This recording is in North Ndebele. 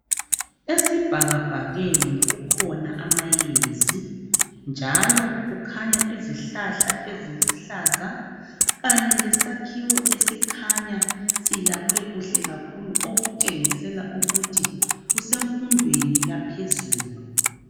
Esibhakabhakeni kukhona amayezi, njalo kukhanya izihlahla eziluhlaza, njalo lesakhuwo esikhanya sakhiwe kuhle kakhulu. Okutshengisela ukuthi kusemfundweni yaphezulu,